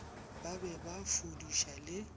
ba be ba fudiša le